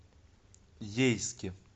ейске